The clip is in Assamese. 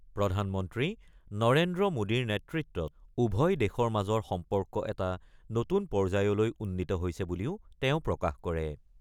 প্ৰধানমন্ত্ৰী নৰেন্দ্ৰ মোডীৰ নেতৃত্বত উভয় দেশৰ মাজৰ সম্পৰ্ক এটা নতুন পৰ্যায়লৈ উন্নীত হৈছে বুলিও তেওঁ প্ৰকাশ কৰে।